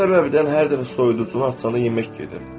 Bu səbəbdən hər dəfə soyuducunu açanda yemək yeyir.